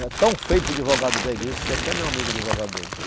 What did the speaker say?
É tão feio para o advogado dele isso, que até meu amigo é advogado dele.